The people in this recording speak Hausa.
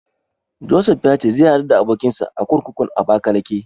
Josef ya ce zai haɗu da abokinsa a kurkukun Abakalake.